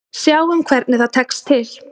Sjáum hvernig það tekst til.